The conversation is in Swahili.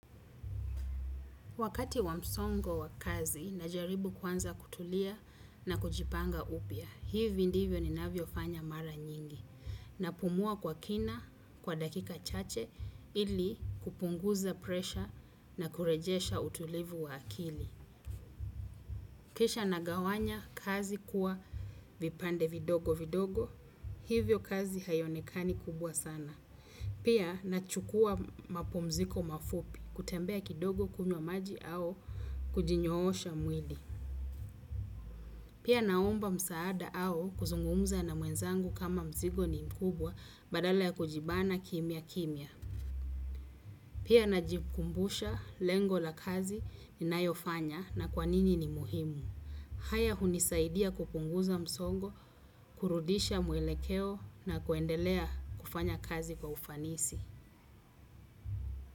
Wakati wa msongo wa kazi najaribu kwanza kutulia na kujipanga upya, hivi ndivyo ninavyofanya mara nyingi. Napumua kwa kina kwa dakika chache ili kupunguza presha na kurejesha utulivu wa akili. Kisha nagawanya kazi kuwa vipande vidogo vidogo, hivyo kazi haionekani kubwa sana. Pia nachukuwa mapumziko mafupi kutembea kidogo kunywa maji au kujinyoosha mwili. Pia naomba msaada au kuzungumza na mwenzangu kama mzigo ni mkubwa badala ya kujibana kimya kimya. Pia najikumbusha lengo la kazi ninayofanya na kwa nini ni muhimu. Haya hunisaidia kupunguza msongo, kurudisha mwelekeo na kuendelea kufanya kazi kwa ufanisi.